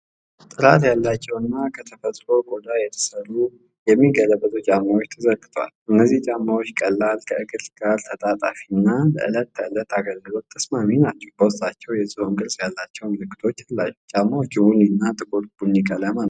ጥራት ያላቸውና ከተፈጥሮ ቆዳ የተሠሩ የሚገለበጡ ጫማዎች ተዘርግተዋል። እነዚህ ጫማዎች ቀላል፣ ከእግር ጋር ተጣጣፊና ለዕለት ተዕለት አገልግሎት ተስማሚ ናቸው። በውስጣቸው የዝሆን ቅርጽ ያላቸው ምልክቶች አሏቸው። ጫማዎቹ ቡኒና ጥቁር ቡኒ ቀለም አላቸው።